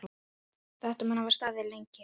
Þetta mun hafa staðið lengi.